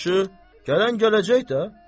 Yaxşı, gələn gələcək də.